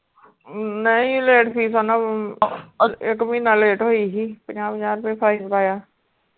ਨਹੀਂ late fees ਓਹਨਾ ਇੱਕ ਮਹੀਨਾ late ਹੋਈ ਹੀ ਪੰਜਾਹ ਪੰਜਾਹ ਰੁਪਏ fine ਪਾਇਆ।